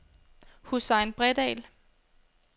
Hussein Bredahl